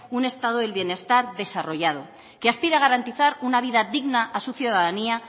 un estado del bienestar desarrollado que aspira a garantizar una vida digna a su ciudadanía